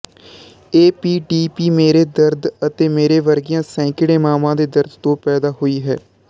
APDP ਮੇਰੇ ਦਰਦ ਅਤੇ ਮੇਰੇ ਵਰਗੀਆਂ ਸੈਂਕੜੇ ਮਾਵਾਂ ਦੇ ਦਰਦ ਤੋਂ ਪੈਦਾ ਹੋਈ ਹੈ